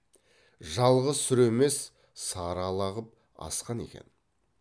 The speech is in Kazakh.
жалғыз сүр емес сары ала қып асқан екен